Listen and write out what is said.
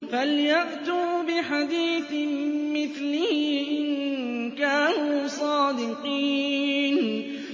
فَلْيَأْتُوا بِحَدِيثٍ مِّثْلِهِ إِن كَانُوا صَادِقِينَ